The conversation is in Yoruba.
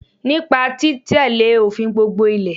Nípa tí tẹ́lé òfin gbogbo Ilẹ̀